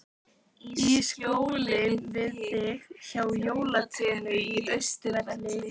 Í skjóli við þig, hjá jólatrénu á Austurvelli.